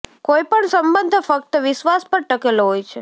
કોઈ પણ સંબંધ ફક્ત વિશ્વાસ પર ટકેલો હોય છે